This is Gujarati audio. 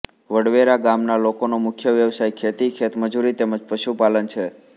વડવેરા ગામના લોકોનો મુખ્ય વ્યવસાય ખેતી ખેતમજૂરી તેમ જ પશુપાલન છે